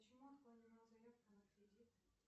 почему отклонена заявка на кредит